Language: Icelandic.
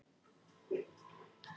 unum, þessum úðabrúsum ólyktar.